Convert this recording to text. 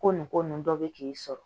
Ko nin ko nunnu dɔ bɛ k'i sɔrɔ